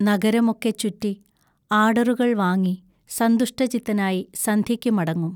നഗരമൊക്കെ ചുറ്റി, ആർഡറുകൾ വാങ്ങി, സന്തുഷ്ടചിത്തനായി സന്ധ്യയ്ക്കു മടങ്ങും.